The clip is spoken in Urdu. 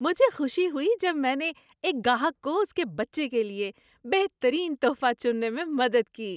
مجھے خوشی ہوئی جب میں نے ایک گاہک کو اس کے بچے کے لیے بہترین تحفہ چننے میں مدد کی۔